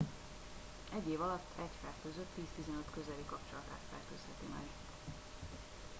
egy év alatt egy fertőzött 10-15 közeli kapcsolatát fertőzheti meg